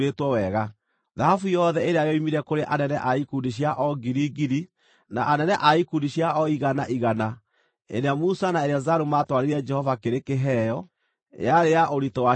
Thahabu yothe ĩrĩa yoimire kũrĩ anene a ikundi cia o ngiri, ngiri na anene a ikundi cia o igana, igana ĩrĩa Musa na Eleazaru maatwarĩire Jehova kĩrĩ kĩheo, yarĩ ya ũritũ wa cekeri 16,750.